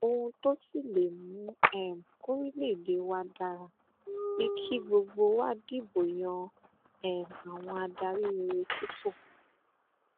ohun tó sì lè mú um kòrílégédé wa dára ni kí gbogbo wa dìbò yan um àwọn adarí rere sípò